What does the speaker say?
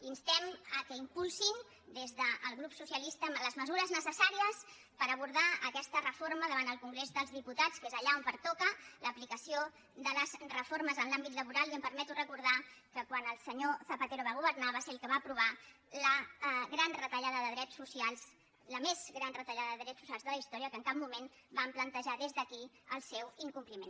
instem que impulsin des del grup socialista les mesures necessàries per abordar aquesta reforma davant el congrés dels diputats que és allà on pertoca l’aplicació de les reformes en l’àmbit laboral i em permeto recordar que quan el senyor zapatero va governar va ser el que va aprovar la gran retallada de drets socials la més gran retallada de drets socials de la història que en cap moment vam plantejar des d’aquí el seu incompliment